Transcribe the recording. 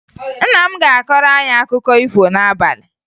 Nna m ga-akọrọ anyị akụkọ ifo n'abalị